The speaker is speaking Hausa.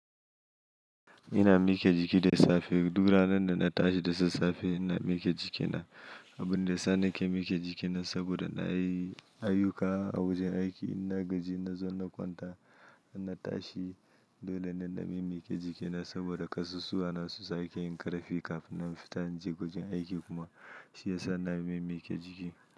Ina miƙe jiki da safe. Du ranar da na tashi da sassafe ina miƙe jikina. Abin da yasa nake miƙe jikina saboda na yi ayuka a wajen aiki. Ina gaji, na zo na kwanta, na tashi. Dole ne na miƙe jikina saboda kasusuwa na su sake yin ƙarfi kafin na fita na je wajen aiki kuma shi yasa na miƙe jiki.